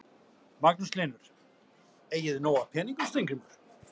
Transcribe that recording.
Magnús Hlynur: Eigið þið nóg af peningum Steingrímur?